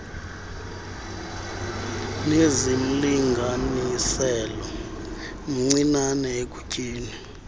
nezimlinganiselo mncinane ekutyeni